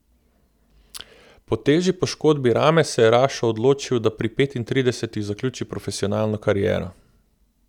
Po težji poškodbi rame se je Rašo odločil, da pri petintridesetih zaključi profesionalno kariero.